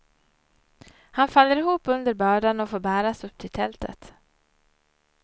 Han faller ihop under bördan och får bäras upp till tältet.